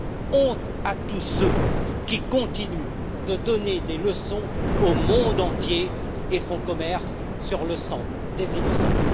Honte à tous ceux qui continuent de donner des leçons au monde entier et font commerce sur le sang des innocents!